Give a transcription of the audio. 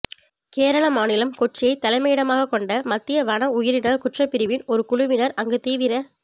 கேரள மாநிலம் கொச்சியை தலைமையிடமாகக் கொண்ட மத்திய வன உயிரின குற்றப்பிரிவின் ஒரு குழுவினர் அங்கு தீவிர